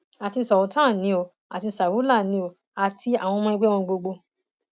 àti sultan ni o àti saraulan ni o àti àwọn ọmọ ẹgbẹ wọn gbogbo